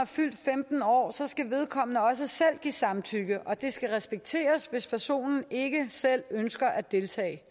fyldt femten år skal vedkommende også selv give samtykke og det skal respekteres hvis personen ikke selv ønsker at deltage